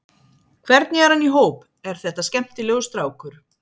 Hvernig er hann í hóp, er þetta skemmtilegur strákur?